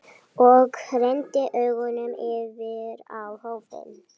Og renndi augunum yfir á hópinn.